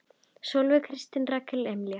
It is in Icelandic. Sólveig Kristín og Rakel Amelía.